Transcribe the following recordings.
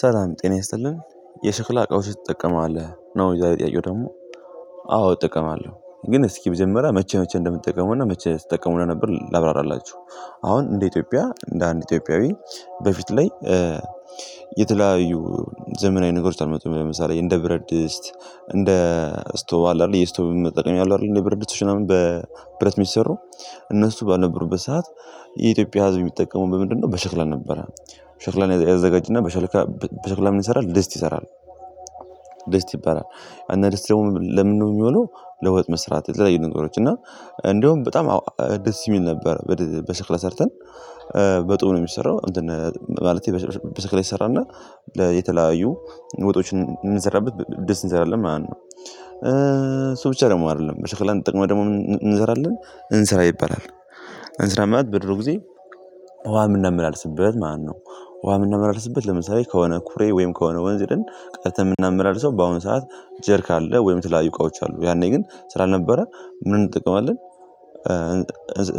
ሰላም ጤና ያስጠልልን የሽክላ እቃወችን ትጠቀማለህ? ነው የዛሬ ጥያቄ ደግሞ አዎ እጠቀማለሁ ግን እስኪ መጀመሪያ መቼ መቼ እንደምትጠቀመውና መቼ ስጠቀመው እንደነበር ላብራራላችሁ አሁን እንደ ኢትዮጵያ እንደ አንድ ኢትዮጵያዊ በፊት ላይ የተለያዩ ዘመናዊ ነገሮች አልመጡም ለምሳሌ እንደ ብረትድስት እንደ ስቶቭ አለ አይደል የስቶቭ መጠቀም አሉ አይደል እንደ ብረትድስት ምናምን በብረት የሚሰሩ እነሱ ባልነበሩበት ሰዓት የኢትዮጵያ ህዝብ የሚጠቀሙ በምንድነው በሸክላ ነበረ ሸክላን ያዘጋጅና በሸክላ ምን ይሰራል ደስት ይሰራል ደስት ይባላል እና ደስት ደግሞ ለምን ነው የሚሆነው ለወጥ መስራት የተለየ ነገሮች እና እንደውም በጣም ደስ የሚል ነበር በሽክል ሰርተን በጡብ ነው የሚሰራው እንትን ማለት በሰክላ ይሰራልና የተለያዩ ወጦችን የምንሰራበት ድስት እንሰራለን ማለት ነው እሱ ብቻ ደግሞ አይደለም ሸክላን ተጠቅመን ደግሞ እንሰራለን እንስራ ይባላል እንስራ ማለት በድሮ ጊዜ ውሃ ምናመላልስበት ማለት ነው ውሃ ምናመላልስበት ለምሳሌ ከሆነ ኩሬ ወይም ከሆነ ወንዝ ሂደን ቀድተንየምናመላልሰው በአሁን ሰዓት ጀሪካን አለ ወይም ተለያዩ እቃዎች አሉ ያኔ ግን ስላልነበረ ምን እንጠቀማለን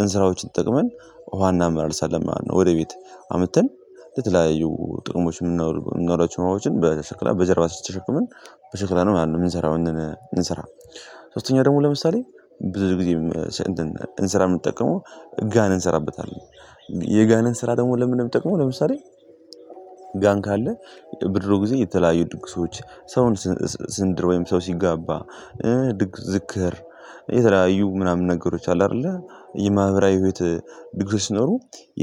እንስራዎችን ተጠቅመን ውሃ እናመላልሳለን ማለት ነው ወደ ቤት አምጥተን ለተለያዩ ጥቅሞች መናውላቸው ዉሀወችን በሸክላ በጀርባ ተሸክመን በሸክላ ነው ያንን የምንሰራው እንሰራ ሶስተኛው ደግሞ ለምሳሌ ብዙ ጊዜ እንሰራ የምንጠቀመው ጋን እንሰራበታለን የጋንን ስራ ደግሞ ለምን ነው የሚጠቅመው ለምሳሌ ጋን ካለ በድሮ ጊዜ የተለያዩ ድግሶች ሰውን ስንድር ወይም ሰው ሲጋባ ድግስ፣ ዝክር የተለያዩ ምናምን ነገሮች አሉ አይደል የማህበራዊ ህይወት ድግሶች ሲኖሩ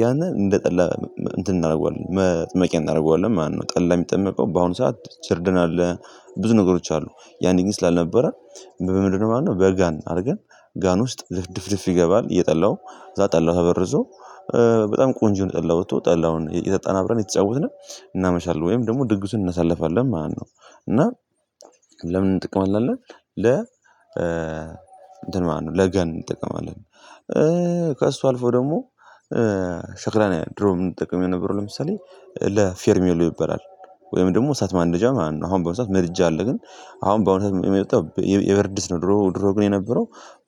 ያንን እንደጠላ እንትን እናደርገዋለን መጥመቂያ እናደርገዋለን ማለት ነው ጠላ የሚጠመቀው በአሁኑ ሰዓት ችርድን አለ ብዙ ነገሮች አሉ ያኔ ግን ስላልነበረ በምንድነው ማለት ነው በጋን አድርገን ጋን ውስጥ ድፍድፍ ይገባል የጠላው ከዛ ጠላው ተበርዞ በጣም ቆንጆ የሆነ ጠላ ወጥቶ ጠላውን እየጠጣን አብረን እየተጫወትን እናመሻለን ወይም ደግሞ ድግሱን እናሳልፋለን ማለት ነው እና ለምን እንጠቀማለን አለን ለ እንትን ለጋን እንጠቀማለን ከእሱ አልፎ ደግሞ ሸክላን ድሮ የምንጠቀመው የነበረው ለምሳሌ ለፌርሜሎ ይበላል ወይም ደግሞ እሳት ማንደጃ ማለት ነው አሁን በአሁኑ ሰዓት መድጃ አለ ግን አሁን የመጣው የብረትድስት ነው ድሮ ድሮ ግን የነበረው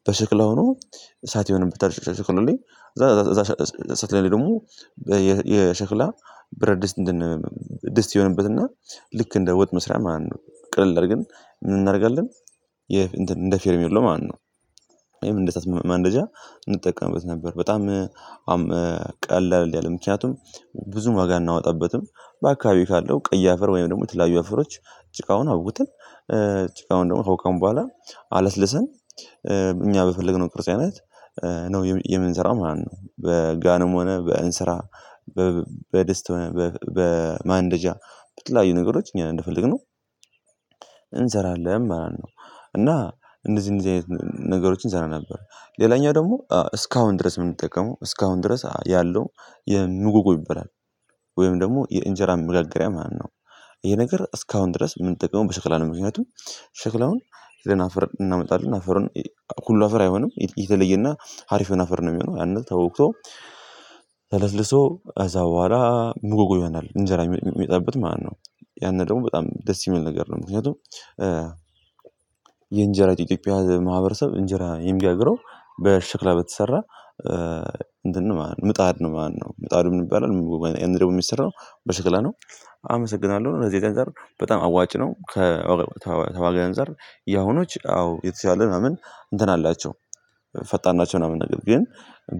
በሽክላ ሆኖ እሳት ይሆንበታል ከሸክላው ለይ ከዛ ደግሞ የሸክላ ብረትድስት እንደ ድስት ይሆንበትና ልክ እንደ ወጥ መስራያ ማለት ነው ቅልል አድርገን ምን እናደርጋለን እንትን እንደ ፌርሜሎ ማለት ነው ይሄም እንደ እሳት ማንደጃ እንጠቀምበት ነበር በጣም ቀላል አይደለም ምክንያቱም ብዙም ዋጋ አናወጣበትም በአካባቢው ካለው ቀይ አፈር ወይም ደግሞ የተላያዩ አፈሮች ጭቃውን አቡክተን ጭቃውን ደግሞ ካቦካን በኋላ አለስልሰን እኛ በፈለግነው ቅርጽ አይነት ነው የምንሰራው ማለት ነው በጋንም ሆነ በእንስራ በድስት ሆነ በማንደጃ በተለያዩ ነገሮች እኛ እንደፈለግነው እንሰራለን ማለት ነው እና እንደዚህ እንደዚህ አይነት ነገሮችን እሰራ ነበር ሌላኛው ደግሞ እስካሁን ድረስ ምንጠቀመው እስካሁን ድረስ ያለው የምጉጉ ይበላል ወይም ደግሞ የእንጀራ ምጋገሪያ ማለት ነው ይሄ ነገር እስካሁን ድረስ ምንጠቅመው በሽክላ ምክንያቱም ሸክላውን ደህና አፈር እናመጣለን አፈሩ ሁሉ አፈር አይሆንም የተለየና አሪፍ የሆነ አፈር ነው የሚሆነው ያንን ተቦክቶ ተለስለሶ ከዛ በኋላ ምጎጎ ይሆናል እንጀራ ሚወጣብት ማለት ነው ያንን ደግሞ በጣም ደስ የሚል ነገር ነው ምክንያቱም የእንጀራ ኢትዮጵያ ማህበረሰብ እንጀራ የሚጋግረው በሽክላ በተሰራ እንትን ምጣድ ነው ማለት ነው ምጣዱ መን ይባላል ምጎጎ ይሄ ደግሞ የሚሰራው በሽክላ ነው አመሰግናለሁ ለዚህ ነገር በጣም አዋጭ ነው ከተዋጋው አንፃር ያሁኖች አዎ የተሻለ ምናምን እንትን አላቸው ፈጣን ናቸው ምናምን ነገር ግን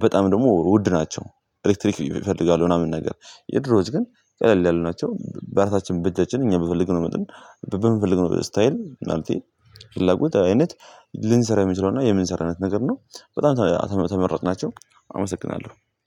በጣም ደግሞ ውድ ናቸው ኤሌክትሪክ ይፈልጋሉ ምናምን ነገር የድሮዎች ግን ቀለል ያሉ ናቸው በእራሳችን በእጃችን እኛ በፈለግነው መጠን በምፈልገው ስታይል ማለቴ ፍላጎት አይነት ልንሰራ የምንችለው እና የምንሰራው አይነት ነገር ነው በጣም ተመራጭ ናቸው አመሰግናለሁ